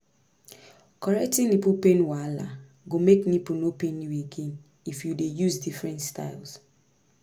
correcting nipple pain wahala go make nipple no pain you again if you dey use different styles